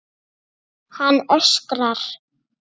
Hann öskrar.